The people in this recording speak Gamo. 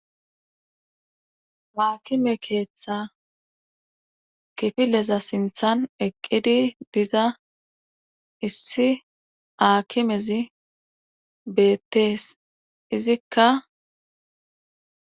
Haakime keeththa kifileza sinthan eqqidi diza issi haakimezi beettees izikka